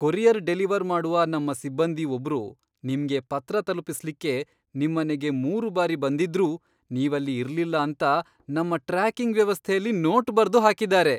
Courier deliver ಮಾಡುವ ನಮ್ಮ ಸಿಬ್ಬಂದಿ ಒಬ್ರು ನಿಮ್ಗೆ ಪತ್ರ ತಲುಪಿಸ್ಲಿಕ್ಕೆ ನಿಮ್ಮನೆಗೆ ಮೂರು ಬಾರಿ ಬಂದಿದ್ರೂ ನೀವಲ್ಲಿ ಇರ್ಲಿಲ್ಲ ಅಂತ ನಮ್ಮ ಟ್ರ್ಯಾಕಿಂಗ್ ವ್ಯವಸ್ಥೆಯಲ್ಲಿ ನೋಟ್ ಬರ್ದು ಹಾಕಿದ್ದಾರೆ.